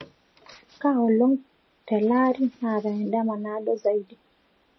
kaa olong tee laari naata edama naadoo zaidi